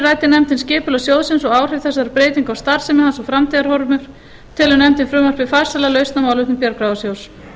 ræddi nefndin skipulag sjóðsins og áhrif þessara breytinga á starfsemi hans og framtíðarhorfur telur nefndin frumvarpið farsæla lausn á málefnum bjargráðasjóðs